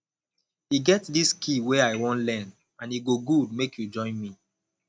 e get dis skill wey i wan learn and e go good make you join me